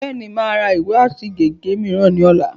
Bẹ́ẹ̀ni, mà á ra ìwé àti gègé mìíràn ní ọ̀la